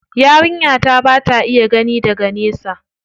Yarinya ta ba ta iya gani daga nesa.